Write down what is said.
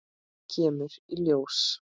Kemur í ljós!